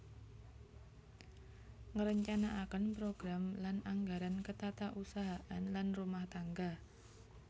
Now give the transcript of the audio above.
Ngrencanakaken program lan anggaran ketatausahaan lan rumah tangga